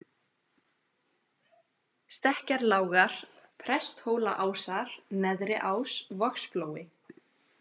Stekkjarlágar, Presthólaásar, Neðriás, Vogsflói